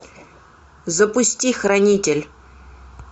запусти хранитель